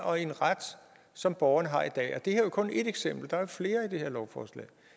og i en ret som borgerne har i dag det her er jo kun et eksempel der er flere i det her lovforslag